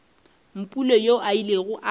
mpule yoo a ilego a